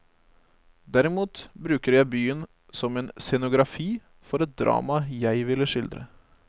Derimot bruker jeg byen som en scenografi for et drama jeg ville skildre.